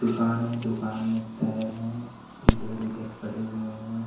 दुकान है दुकान में टायर हैं इधर उधर पड़े हुए हैं।